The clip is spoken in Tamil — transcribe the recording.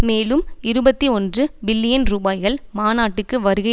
மேலும் இருபத்தி ஒன்று பில்லியன் ரூபாய்கள் மாநாட்டுக்கு வருகை